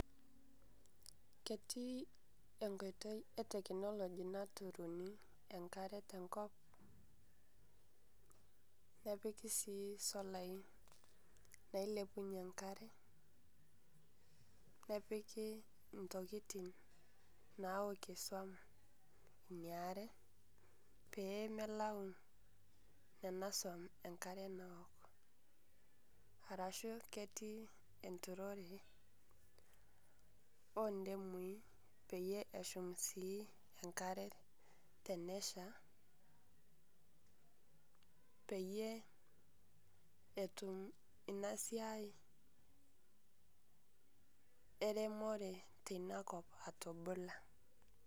Ketii enkotei e teknoloji naturunii enkare te nkoop nepikii sii solai nailepunye nkare. Nepikii ntikitin naokei soum nia aare pee meelau nena soum enkare naook arashu ketii enturore o ndemui peiye ashuum sii enkare teneshaa, peiye etuum ena siai eremore tenia nkoop atubulaa.